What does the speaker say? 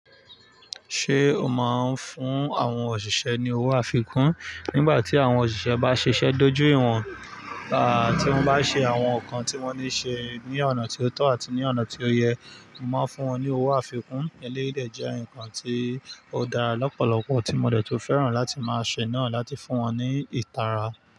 Ṣé o máa ń fún àwọn òṣìṣẹ́ ní owó àfikún nígbà tí àwọn òṣìṣẹ́ bá ṣiṣẹ́ dójú ìwọ̀n, tí wọ́n bá ṣe àwọn nǹkan tí wọ́n ní ṣe ní ọ̀nà tí ó tọ́ àti ní ọ̀nà tí ó yẹ, mo máa fún wọn ní owó àfikún. Eléyi dẹ̀ jẹ́ nǹkan tí ó dára lọ́pọ̀lọpọ̀ tí mo dẹ̀ tun fẹ́ràn láti máa ṣe ná làti fún wọn ní ìtara.